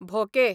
भोके